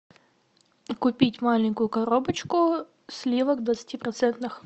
купить маленькую коробочку сливок двадцатипроцентных